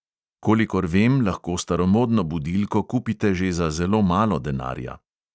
Kolikor vem, lahko staromodno budilko kupite že za zelo malo denarja.